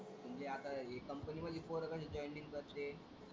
म्हणजे आता हे कंपनी मध्ये पोर कशी जॉइनिंग करते.